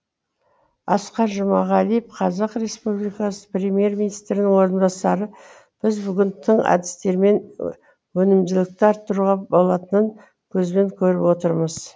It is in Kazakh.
асқар жұмағалиев қазақ республикасы премьер министрінің орынбасары біз бүгін тың әдістермен өнімділікті арттыруға болатынын көзбен көріп отырмыз